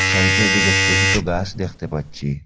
সাইটের দিকে সোট সোট গাছ দেখতে পাচ্ছি।